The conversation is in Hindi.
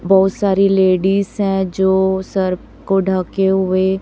बहुत सारी लेडिस है जो सर को ढके हुए--